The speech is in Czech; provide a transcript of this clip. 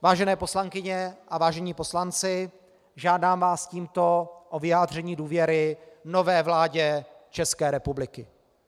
Vážené poslankyně a vážení poslanci, žádám vás tímto o vyjádření důvěry nové vládě České republiky.